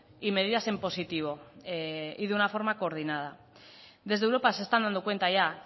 y medidas en positivo y de una forma coordinada desde europa se están dando cuenta ya